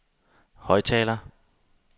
højttaler